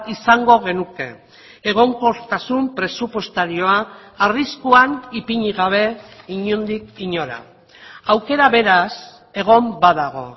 izango genuke egonkortasun presupuestarioa arriskuan ipini gabe inondik inora aukera beraz egon badago